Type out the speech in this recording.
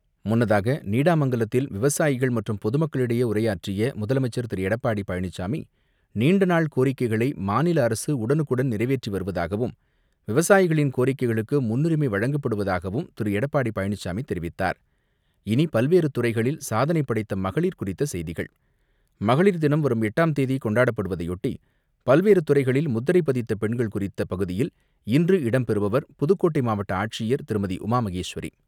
முன்னதாக நீடாமங்கலத்தில் விவசாயிகள் மற்றும் பொதுமக்களிடையே உரையாற்றிய முதலமைச்சர் திரு எடப்பாடி பழனிச்சாமி நீண்ட நாள் கோரிக்கைகளை மாநில அரசு உடனுக்குடன் நிறைவேற்றி வருவதாகவும் விவசாயிகளின் கோரிக்கைகளுக்கு முன்னுரிமை வழங்கப்படுவதாகவும் திரு எடப்பாடி பழனிசாமி தெரிவித்தார். இனி பல்வேறு துறைகளில் சாதனை படைத்த மகளிர் குறித்த செய்திகள்; மகளிர் தினம் வரும் எட்டாம் தேதி கொண்டாடப்படுவதையொட்டி பல்வேறு துறைகளில் முத்திரை பதித்த பெண்கள் குறித்த பகுதியில் இன்று இடம்பெறுபவர் புதுக்கோட்டை மாவட்ட ஆட்சியர் திருமதி உமாாமகேஸ்வரி.